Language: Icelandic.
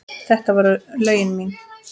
Þetta voru lögin mín.